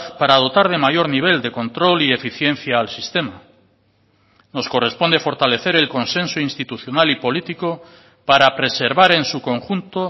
para dotar de mayor nivel de control y eficiencia al sistema nos corresponde fortalecer el consenso institucional y político para preservar en su conjunto